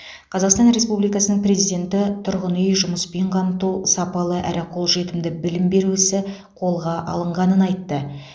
қазақстан республикасының президенті тұрғын үй жұмыспен қамту сапалы әрі қолжетімді білім беру ісі қолға алынғанын айтты